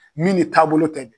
Min ni taabolo tɛ